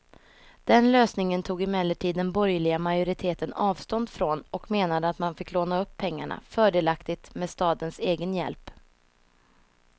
Den lösningen tog emellertid den borgerliga majoriteten avstånd från och menade att man fick låna upp pengarna, fördelaktigt med stadens egen hjälp.